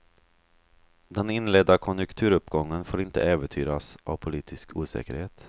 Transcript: Den inledda konjunkturuppgången får inte äventyras av politisk osäkerhet.